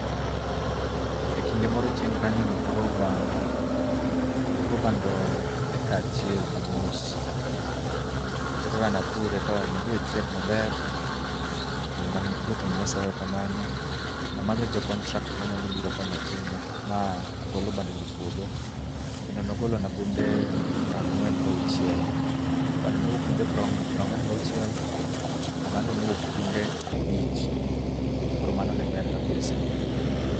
Ekinde moro chien kanyo napuro bando, napuro bando eka achiel gi nus. Koro kaka ne apure to ne odhi ochiek maber kendo ne aduoko ne Nyasaye erokamano. Ne amanyo jo contract manyalo biro konya time ma agolo bandono epuodho kendo ne ogolona gunde piero ang'wen gi auchiel. Bando nowuok gunde piero ang'wen gi auchiel, oganda ne owuok gunde abich koro mano ne ber kabisa.